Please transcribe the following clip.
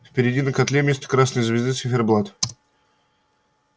впереди на котле вместо красной звезды циферблат